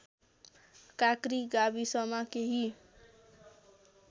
काँक्री गाविसमा केही